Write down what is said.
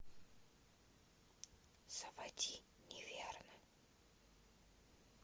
заводи неверно